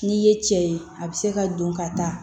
N'i ye cɛ ye a bɛ se ka don ka taa